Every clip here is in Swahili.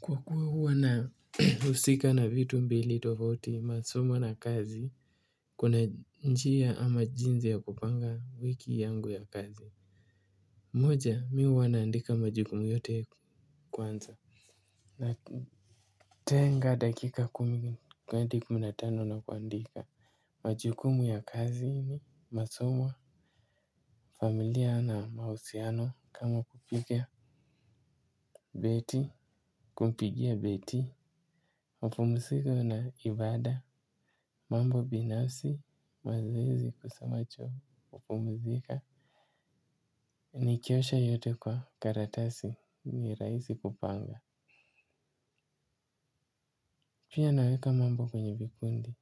Kwa kuwa huwa na husika na vitu mbili tofauti masomo na kazi. Kuna njia ama jinsi ya kupanga wiki yangu ya kazi. Mmoja mimi huwa naandika majukumu yote kwanza. Natenga dakika kumi na tano na kuandika. Majukumu ya kazi ni masomo familia na mahusiano kama kupikia Beti kumpigia beti mapumzika na ibada. Mambo binafsi mazoezi kusamacho hupumzika. Nikiosha yote kwa karatasi ni rahisi kupanga. Pia naweka mambo kwenye vikundi.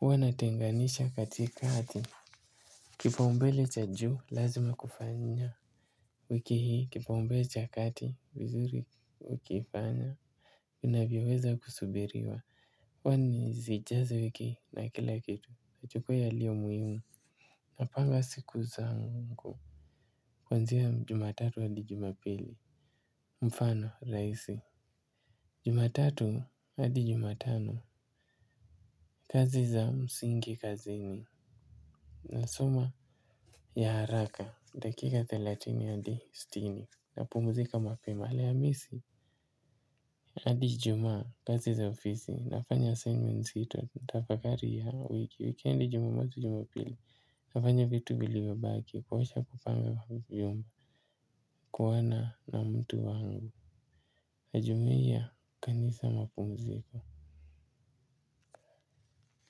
Huwa natenganisha katika hati. Kipa umbele cha juu lazima kufanya. Wiki hii kipaumbele cha kati vizuri wikifanya. Inavyoweza kusubiriwa kwani zijazo wiki na kila kitu chukua yaliyo muhimu. Napanga siku zangu. Kuanzia jumatatu hadi jumapili. Mfano rahisi. Jumatatu hadi jumatano. Kazi za msingi kazini. Na soma ya haraka dakika thelathini hadi sitini napumzika mapema alhamisi hadi ijumaa kazi za ofisi nafanya assignment zito tafakari ya wiki wikendi jumamosi jumapili. Nafanya vitu vilivyo baki kuosha kupanga vyombo kuona na mtu wangu najumia kanisa mapumziko.